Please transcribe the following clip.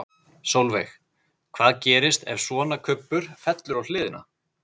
Sólveig: Hvað gerist ef svona kubbur fellur á hliðina?